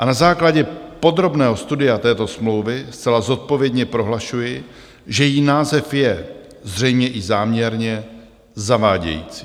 A na základě podrobného studia této smlouvy zcela zodpovědně prohlašuji, že její název je - zřejmě i záměrně - zavádějící.